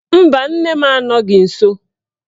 Mba, nne m anọghị nsọ